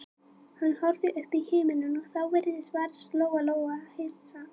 Hann horfði upp í himininn og þá fyrst varð Lóa-Lóa hissa.